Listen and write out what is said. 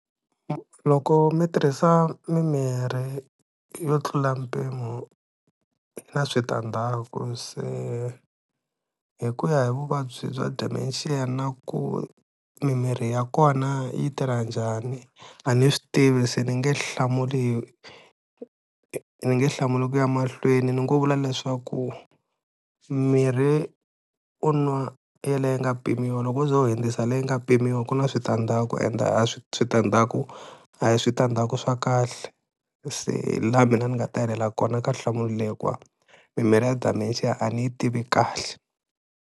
Loko mi tirhisa mimirhi yo tlula mpimo na switandzhaku se hi ku ya hi vuvabyi bya dementia na ku mimirhi ya kona yi tirha njhani a ni swi tivi, se ni nge hlamuli ni nge hlamuli ku ya mahlweni ni ngo vula leswaku mirhi u nwa ya liya yi nga pimiwa, loko u ze u hundzisa leyi nga pimiwa ku na switandzhaku ende a swi switandzaku a hi switandzhaku swa kahle, se hi laha mina ni nga ta helela kona ka nhlamulo leyi hikuva mimirhi ya dementia a ni yi tivi kahle.